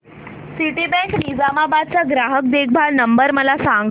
Citibank Nizamabad चा ग्राहक देखभाल नंबर मला सांगा